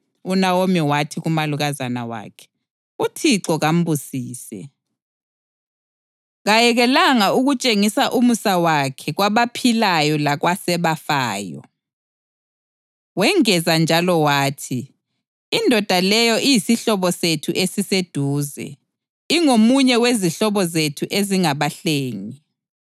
UNawomi wathi kumalukazana wakhe, “ UThixo kambusise! Kayekelanga ukutshengisa umusa wakhe kwabaphilayo lakwasebafayo.” Wengeza njalo wathi, “Indoda leyo iyisihlobo sethu esiseduze; ingomunye wezihlobo zethu ezingabahlengi.”